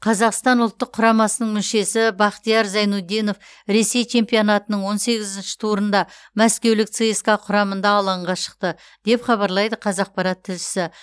қазақстан ұлттық құрамасының мүшесі бахтияр зайнутдинов ресей чемпионатының он сегізінші турында мәскеулік цска құрамында алаңға шықты деп хабарлайды қазақпарат тілшісі